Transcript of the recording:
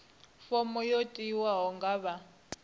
fomo yo tiwaho nga vha